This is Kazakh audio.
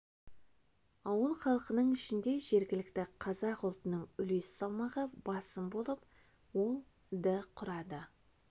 ауыл халқының ішінде жергілікті қазақ ұлтының үлес салмағы басым болып ол ды құрады